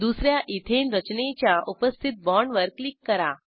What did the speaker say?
दुस या इथेन रचनेच्या उपस्थित बाँडवर क्लिक करा